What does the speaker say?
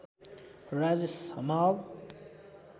Rajesh Hamal